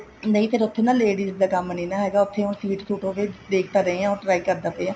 ਨਹੀਂ ਨਾ ਫ਼ੇਰ ਉੱਥੇ ladies ਦਾ ਕੰਮ ਨੀ ਹੈਗਾ ਹੁਣ ਸੀਟ ਸੂਟ ਹੋਗੇ ਦੇਖਦੇ ਪਏ ਹਾਂ try ਕਰਦਾ ਪਿਆ